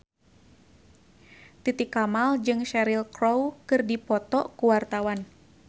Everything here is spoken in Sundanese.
Titi Kamal jeung Cheryl Crow keur dipoto ku wartawan